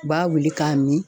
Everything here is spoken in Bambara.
U b'a wuli k'a mi.